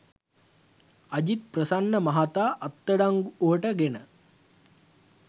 අජිත් ප්‍රසන්න මහතා අත්අඩංගුවට ගෙන